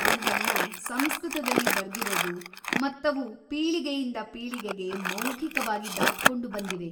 ಅವ್ಗಳ್ನ ಸಂಸ್ಕೃತದಲ್ಲಿ ಬರ್ದಿರೋದು ಮತ್ತವು ಪೀಳಿಗೆಯಿಂದ ಪೀಳಿಗೆಗೆ ಮೌಖಿಕವಾಗಿ ದಾಟ್ಕೊಂಡು ಬಂದಿವೆ.